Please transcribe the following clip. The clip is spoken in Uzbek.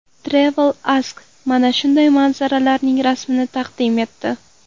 Travel Ask mana shunday manzaralarning rasmini taqdim etdi.